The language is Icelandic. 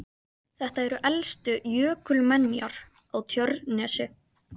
Þetta eru elstu jökulmenjar á Tjörnesi.